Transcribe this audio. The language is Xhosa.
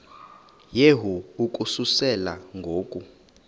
yehu ukususela ngo